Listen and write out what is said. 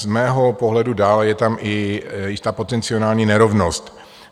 Z mého pohledu dále je tam i jistá potenciální nerovnost.